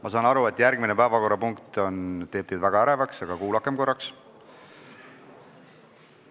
Ma saan aru, et järgmine päevakorrapunkt teeb teid väga ärevaks, aga kuulakem korraks!